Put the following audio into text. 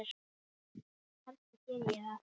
Kannski geri ég það.